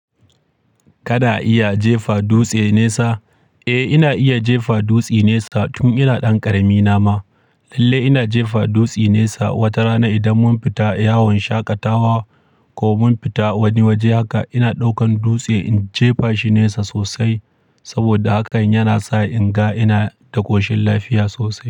Kana iya jefa dutse nisa? Eh, ina iya jefa dutse nesa tun ina ɗan ƙarami na ma. Lalle ina jefa dutse nesa. Wata rana idan mun fita yawon shaƙatawa ko mun fita wani waje haka, ina ɗaukan dutse in jefa shi nesa sosai. Saboda hakan yana sa in ga ina da ƙoshin lafiya sosai.